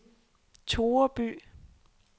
Toreby